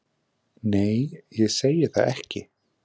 Nei, ég segi það ekki.